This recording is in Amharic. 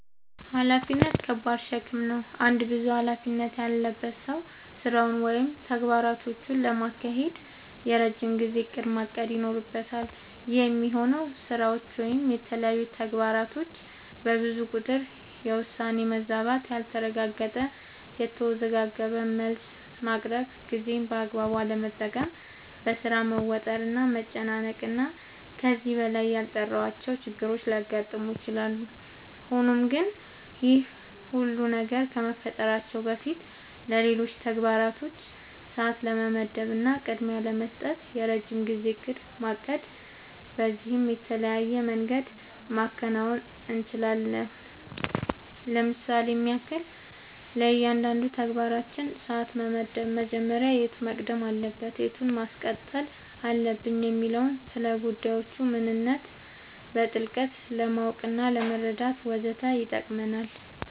ኃላፊነት ከባድ ሸክም ነው። አንድ ብዙ ኃላፊነት ያለበት ሰው ስራውን ወይም ተግባራቶቹን ለማካሄድ የረጅም ጊዜ እቅድ ማቀድ ይኖርበታል። ይህ የሚሆነው ስራዎች ወይም የተለያዩ ተግባራቶች በብዙ ቁጥር የውሳኔ መዛባት ያልተረጋገጠ፣ የተወዘጋገበ መልስ ማቅረብ፣ ጊዜን በአግባቡ አለመጠቀም፣ በሥራ መወጠር እና መጨናነቅ እና ከዚህ በላይ ያልጠራሁዋቸው ችግሮች ሊያጋጥሙ ይችላሉ። ሆኖም ግን ይህ ሁሉ ነገር ከመፈጠራቸው በፊትለሌሎች ተግባራቶች ሰዓት ለመመደብ እና ቅድሚያ ለመስጠት የረጅም ጊዜ እቅድ ማቀድ በዚህም በተለያየ መንገድ ማከናወን እንችላለኝ ለምሳሌም ያክል፦ ለእያንዳንዱ ተግባራችን ሰዓት መመደብ መጀመሪያ የቱ መቅደም አለበት የቱን ማስቀጠል አለብኝ የሚለውን፣ ስለጉዳዮቹ ምንነት በጥልቀት ለማወቅናለመረዳት ወዘተ ይጠቅመናል።